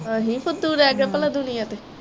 ਅਸੀ ਫੁੱਦੂ ਰਹਿ ਗਏ ਪਲਾਂ ਦੁਨੀਆ ਤੇ